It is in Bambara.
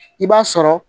I b'a sɔrɔ